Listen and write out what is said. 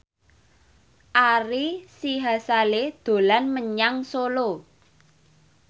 Ari Sihasale dolan menyang Solo